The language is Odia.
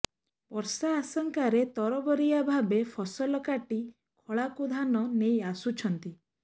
ବର୍ଷା ଆଶଙ୍କାରେ ତରବରିଆ ଭାବେ ଫସଲ କାଟି ଖଳାକୁ ଧାନ ନେଇ ଆସୁଛନ୍ତି